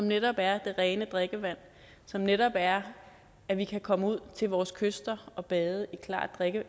netop er det rene drikkevand som netop er at vi kan komme ud til vores kyster og bade i klart